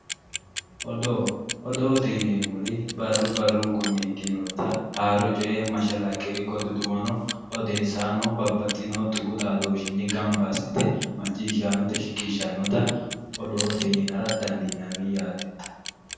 Odoo odoote yineemmori barru barrunkunni ikkitinota haaro coye mashalaqqe ikko duduwono odeessaano babbaxxino tuqu xaadooshshinni gamba assite macciishshaanote shiqishshannota odoote yinara dandiinanni yaate